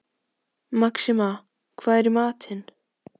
Maxima, hvað er í matinn?